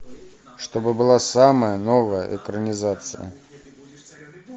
чтобы была самая новая экранизация